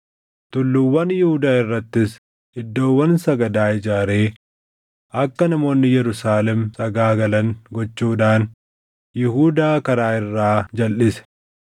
Tulluuwwan Yihuudaa irrattis iddoowwan sagadaa ijaaree akka namoonni Yerusaalem sagaagalan gochuudhaan Yihuudaa karaa irraa jalʼise.